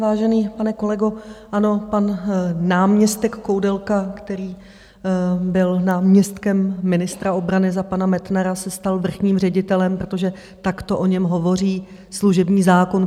Vážený pane kolego, ano, pan náměstek Koudelka, který byl náměstkem ministra obrany za pana Metnara, se stal vrchním ředitelem, protože takto o tom hovoří služební zákon.